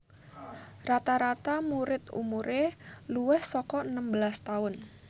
Rata rata muid umure luwih saka enem belas tahun